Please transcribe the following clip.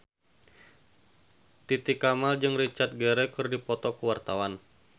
Titi Kamal jeung Richard Gere keur dipoto ku wartawan